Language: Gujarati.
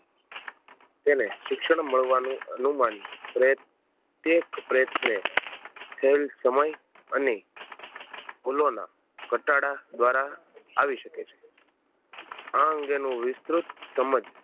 તેને શિક્ષણ મળવાનું અનુમાન પ્રત્યેક પ્રયત્ને ખેલ સમય અને ફૂલોના ઘટાડા દ્વારા આવી શકે છે આ અંગે નું વિસ્તૃત સમજ